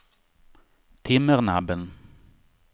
Timmernabben